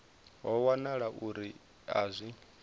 ho wanala uri a zwi